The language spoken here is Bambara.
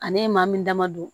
Ale ye maa min dama don